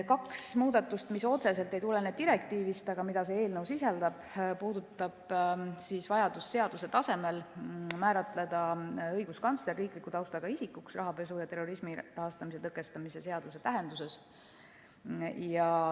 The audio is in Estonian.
Kaks muudatust, mis otseselt ei tulene direktiivist, aga mida see eelnõu sisaldab, puudutavad vajadust seaduse tasemel määratleda õiguskantsler riikliku taustaga isikuna rahapesu ja terrorismi rahastamise tõkestamise seaduse tähenduses.